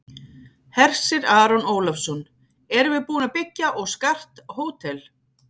Hersir Aron Ólafsson: Erum við búin að byggja og skart hótel?